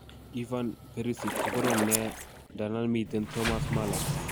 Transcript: Ivan Perisic ko korom nia ndandan miten Thomas Muller.